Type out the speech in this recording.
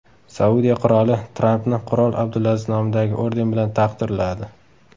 Saudiya qiroli Trampni qirol Abdulaziz nomidagi orden bilan taqdirladi.